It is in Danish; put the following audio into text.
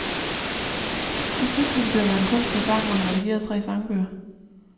I fritiden dyrker han kunst og sang og har redigeret tre sangbøger.